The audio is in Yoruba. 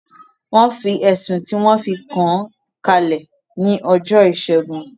Wọ́n fi ẹ̀sùn tí wọn fi kàán kalẹ̀ ní ọjọ́ ìṣẹ́gun